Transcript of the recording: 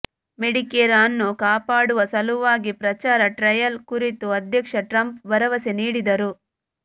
Medicare ಅನ್ನು ಕಾಪಾಡುವ ಸಲುವಾಗಿ ಪ್ರಚಾರ ಟ್ರಯಲ್ ಕುರಿತು ಅಧ್ಯಕ್ಷ ಟ್ರಂಪ್ ಭರವಸೆ ನೀಡಿದರು